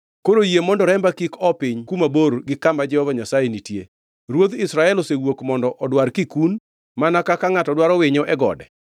Koro yie mondo remba kik oo piny kuma bor gi kama Jehova Nyasaye nitie. Ruodh Israel osewuok mondo odwar kikun mana kaka ngʼato dwaro winyo e gode.”